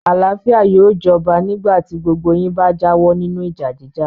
Àlàáfíà yóò jọba nígbà tí gbogbo yín bá jáwọ́ nínú ìjà jíjà.